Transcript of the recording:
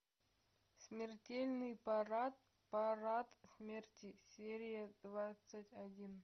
смертельный парад парад смерти серия двадцать один